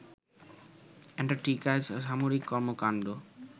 অ্যান্টার্কটিকায় সামরিক কর্মকান্ড